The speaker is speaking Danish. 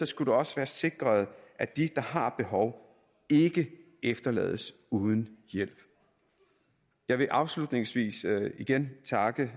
skulle det også være sikret at de der har behov ikke efterlades uden hjælp jeg vil afslutningsvis igen takke